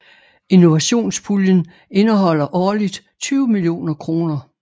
Innovationspuljen indeholder årligt 20 millioner kr